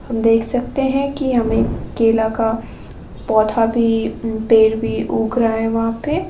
देख सकते हैं कि हमें केला का पौधा भी पेड़ भी उग रहा है वहां पे।